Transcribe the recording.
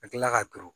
Ka tila ka turu